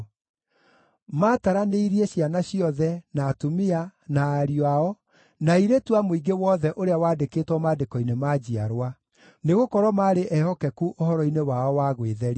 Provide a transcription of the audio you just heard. Maataranĩirie ciana ciothe, na atumia, na ariũ ao, na airĩtu a mũingĩ wothe ũrĩa waandĩkĩtwo maandĩko-inĩ ma njiarwa. Nĩgũkorwo maarĩ ehokeku ũhoro-inĩ wao wa gwĩtheria.